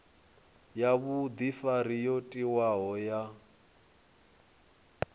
ya vhudifari yo tiwaho ya